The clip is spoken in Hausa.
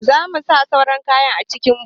Za mu sa sauran kayan a cikin Boot.